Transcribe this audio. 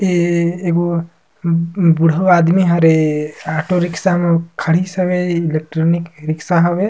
ऐ एगो बूड़हउ आदमी हरे ऑटो रिक्सा म खड़िस हवे ऑटो रिक्सा हवय ।